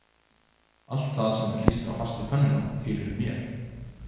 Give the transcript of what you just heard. Allt það sem var klístrað fast við pönnuna tilheyrði mér